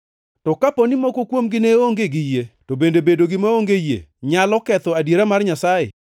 To kapo ni moko kuomgi ne onge gi yie, to bende bedogi maonge yie nyalo ketho adiera mar Nyasaye?